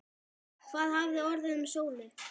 Hvað hafði orðið um Sólu?